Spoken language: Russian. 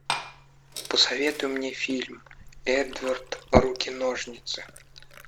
посоветуй мне фильм эдвард руки ножницы